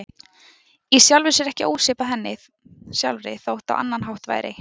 Í sjálfu sér ekki ósvipað henni sjálfri þótt á annan hátt væri.